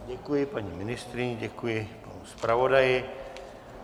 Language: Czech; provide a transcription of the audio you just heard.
Děkuji paní ministryni, děkuji zpravodaji.